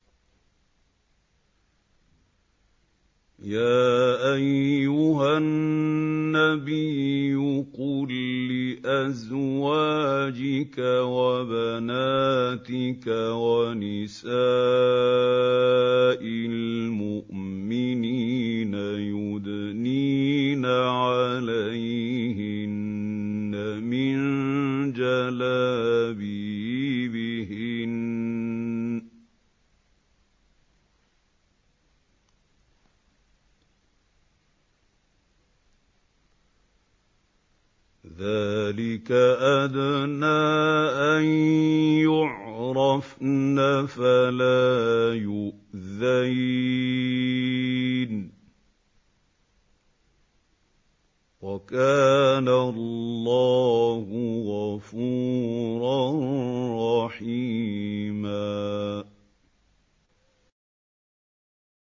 يَا أَيُّهَا النَّبِيُّ قُل لِّأَزْوَاجِكَ وَبَنَاتِكَ وَنِسَاءِ الْمُؤْمِنِينَ يُدْنِينَ عَلَيْهِنَّ مِن جَلَابِيبِهِنَّ ۚ ذَٰلِكَ أَدْنَىٰ أَن يُعْرَفْنَ فَلَا يُؤْذَيْنَ ۗ وَكَانَ اللَّهُ غَفُورًا رَّحِيمًا